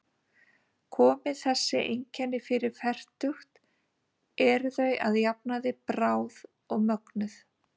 Komi þessi einkenni fyrir fertugt eru þau að jafnaði bráð og mögnuð.